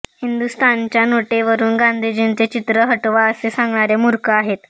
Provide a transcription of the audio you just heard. हिंदुस्थानच्या नोटेवरून गांधीजींचे चित्र हटवा असे सांगणारे मूर्ख आहेत